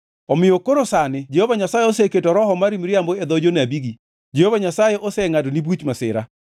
“Omiyo koro sani Jehova Nyasaye oseketo roho mar miriambo e dho jonabigi. Jehova Nyasaye osengʼadoni buch masira.”